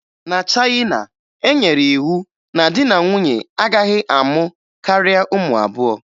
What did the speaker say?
Na Chayịna, e nyere iwu na di na nwunye agaghị amụ karịa ụmụ abụọ